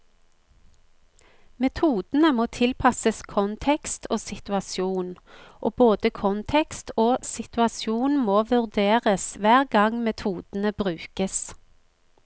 Metodene må tilpasses kontekst og situasjon, og både kontekst og situasjon må vurderes hver gang metodene brukes.